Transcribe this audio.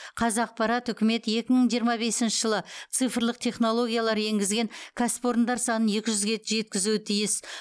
қазақпарат үкімет екі мың жиырма бесінші жылы цифрлық технологиялар енгізген кәсіпорындар санын екі жүзге жеткізуі тиіс